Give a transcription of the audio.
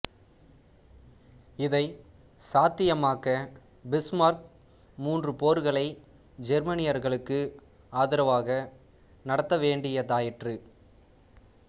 இதை சாத்தியமாக்க பிஸ்மார்க் மூன்று போர்களை ஜெர்மானியர்களுக்கு ஆதரவாக நடத்த வேண்டியதாயிற்று